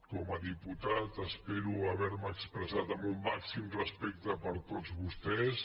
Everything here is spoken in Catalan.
com a diputat espero haver me expressat amb un màxim respecte per tots vostès